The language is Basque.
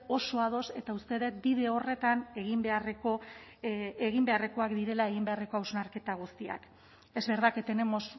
oso ados eta usted ut bide horretan egin beharreko egin beharrekoak direla egin beharreko hausnarketa guztiak es verdad que tenemos